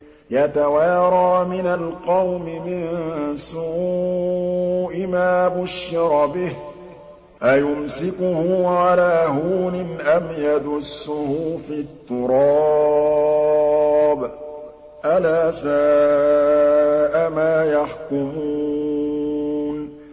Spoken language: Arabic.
يَتَوَارَىٰ مِنَ الْقَوْمِ مِن سُوءِ مَا بُشِّرَ بِهِ ۚ أَيُمْسِكُهُ عَلَىٰ هُونٍ أَمْ يَدُسُّهُ فِي التُّرَابِ ۗ أَلَا سَاءَ مَا يَحْكُمُونَ